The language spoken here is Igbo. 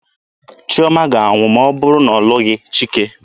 Chiọma ga-anwụ ma ọ bụrụ na ọ lụghị Chike.